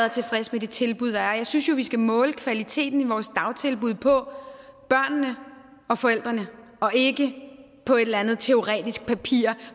og tilfreds med de tilbud der er jeg synes jo at vi skal måle kvaliteten i vores dagtilbud på børnene og forældrene og ikke på et eller andet teoretisk papir